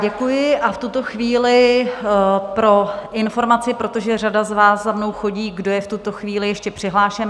Děkuji a v tuto chvíli pro informaci, protože řada z vás za mnou chodí, kdo je v tuto chvíli ještě přihlášen.